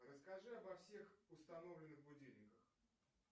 расскажи обо всех установленных будильниках